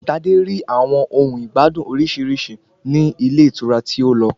Tadé rí àwọn ohun ìgbádùn orísirísi ní ilé ìtura tí ó lọ.